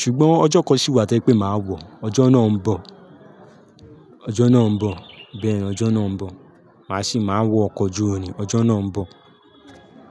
Ṣùgbọ́n ọjọ́ kan sì wà tí jẹ pé máa wọ, ọjọ́ náà ń bọ̀, ọjọ́ náà ń bọ̀, bẹ́ẹ̀ ni ọjọ́ náà ń bọ̀. Màá sì máa wọ ọkọ̀ ojú irin, ọjọ́ náà ń bọ̀.